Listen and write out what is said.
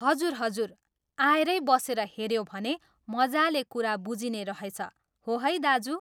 हजुर हजुर आएरै बसेर हेऱ्यो भने मजाले कुरा बुझिने रहछ, हो है दाजु?